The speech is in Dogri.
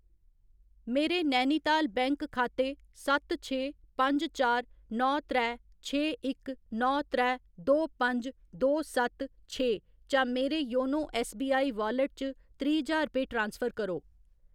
मेरे नैनीताल बैंक खाते सत्त छे पंज चार नौ त्रै छे इक नौ त्रै दो पंज दो सत्त छे चा मेरे योनो ऐस्सबीआई वालेट च त्रीह्‌ ज्हार रपेऽ ट्रांसफर करो।